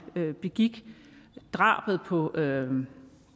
begik drabet på